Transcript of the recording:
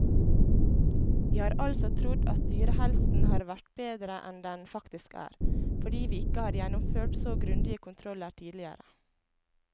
Vi har altså trodd at dyrehelsen har vært bedre enn den faktisk er, fordi vi ikke har gjennomført så grundige kontroller tidligere.